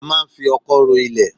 A máa ń fi ọkọ́ ro ilẹ̀